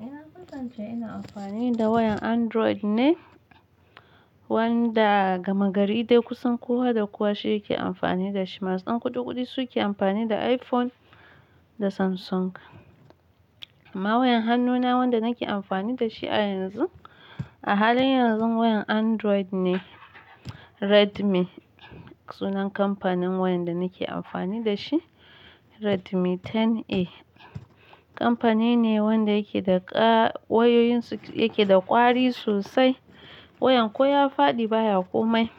Na ka san ce ina amfani da wayan Android ne, wanda gama gari dai kusan kowa da kowa shi yake amfani da shi. Masu ƙudi ƙudi su ke amfani da iPhone da Samsung. Amma wayan hannuna wanda nake amfani da shi a yanzu, a halin yanzu wayan Android ne. Redmi sunan kamfanin wayan da nake amfani da shi. Redmi 10A. Kamfani ne wanda yake da ƙa-- wayoyin su yake da ƙwari sosai. Wayan ko ya faɗi baya komai.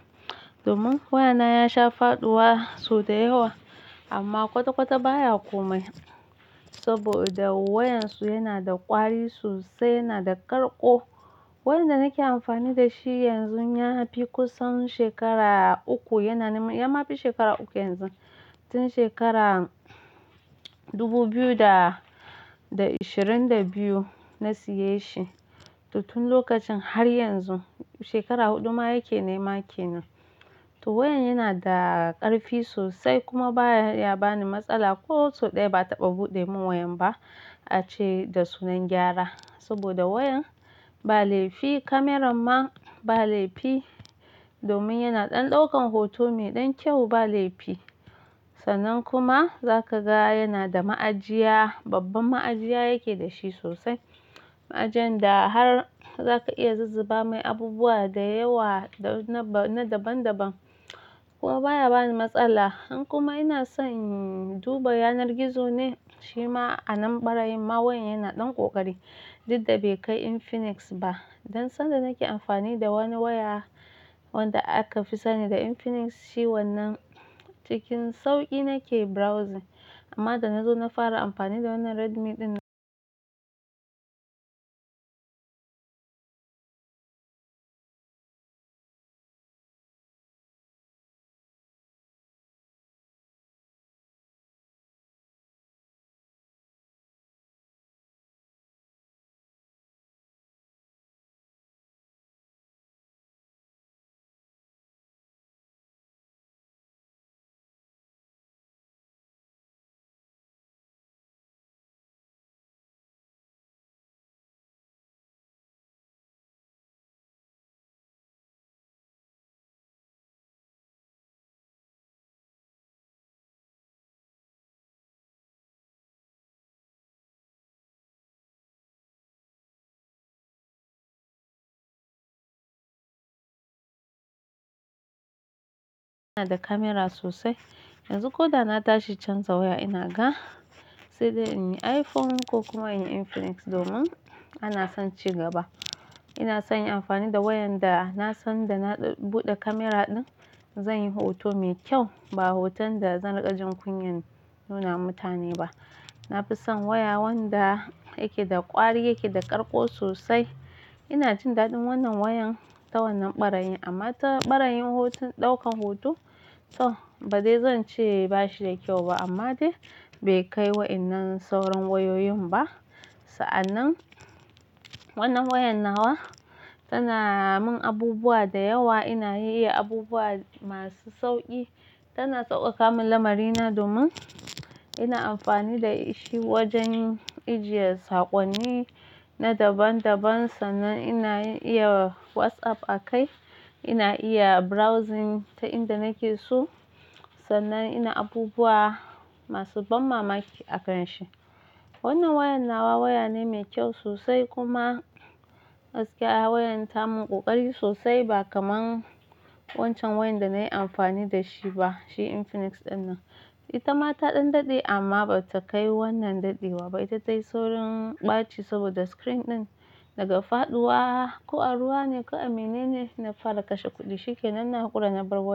Domin wayana ya sha faɗuwa sau da yawa amma kwata-kwata baya komai saboda wayan su yana da ƙwari sosai, yana da ƙarƙo. Wayan da nake amfani da shi yanzun ya fi kusan shekara uku, yana nima ya ma fi shekara uku yanzu. Tun shekara 2022 na siye shi, to tun lokacin har yanzu shekara huɗu ma yake nema ke nan. To wayan yana da ƙarfi sosai kuma baya bani matsala. Ko sau ɗaya ba a taɓa buɗe mun wayan ba a ce da sunan gyara saboda wayan ba laifi. Kamaran ma ba laifi domin yana ɗan ɗaukan hoto mai ɗan kyau ba laifi. Sannan kuma za ka ga yana da ma'ajiya, babbar ma'ajiya yake dashi sosai. Ma'ajiyan da har za ka iya zuzzuba mai abubuwa da yawa da na daban daban. Kuma baya bani matsala. Han kuma ina son duba yanar gizo ne shima a nan ɓarayi ma wayan yana ɗan ƙoƙari. Duk da bai kai Infinix ba. Dan sanda nake amfani da wani waya wanda aka fi sani da Infinix shi wannan cikin sauƙi nake browsing. Amma da na zo na fara amfani da wannan Redmi ɗin na yana da kamera sosai. Yanzu ko da na tashi chanza waya ina ga, sai dai in yi iPhone ko kuma in yi Infinix domin ana son cigaba. Ina son in yi amfani da wayan da na san da na buɗe kamera ɗin zan yi hoto mai kyau ba hoton da zan riƙa jin kunyan nuna mutane ba. Na fi son waya wanda yake da ƙwari, yake da ƙarƙo sosai. Ina jin daɗin wannan wayan ta wannan ɓarayi amma ta ɓarayin hoton, ɗaukan hoto to ba dai zan ce bashi da kyau ba amma dai bai kai wa wa'innan sauran wayoyin ba. Sa'annan wannan wayan nawa tana mun abubuwa da yawa. Ina iya abubuwa masu sauƙi. Tana sauƙaƙa mun lamari na domin ina amfani da shi wajen ajiye sakonni na daban daban, sannan ina iya WhatsApp a kai, ina iya browsing ta inda nake so, sannan ina abubuwa masu ban mamaki a akan shi. Wannan wayan nawa waya ne mai kyau sosai kuma gaskiya wayan ta mun ƙoƙari sosai ba kamar wancan wayan da na yi amfani da shi ba, shi Infinix ɗinnan. Ita ma ta ɗan daɗe amma bata kai wannan daɗewa ba. Itata yi saurin ɓaci saboda screen ɗin daga faɗuwa ko a ruwa ne ko a mene ne na fara kashe kuɗi shi ke. Nan na ƙura na bar wayan.